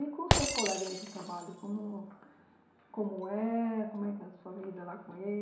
E com os seus colegas de trabalho, como como é, como é que é a sua vida lá com eles?